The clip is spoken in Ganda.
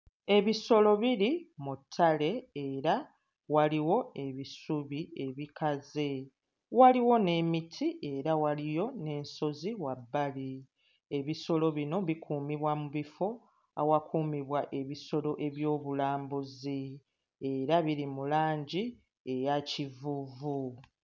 Ebisolo biri mu ttale era waliwo ebisubi ebikaze, waliwo n'emiti era waliyo n'ensozi wabbali, ebisolo bino bikuumibwa mu bifo awakuumibwa ebisolo eby'obulambuzi era biri mu langi eya kivuuvu.